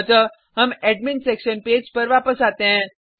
अतः हम admin section page पर वापस आते हैं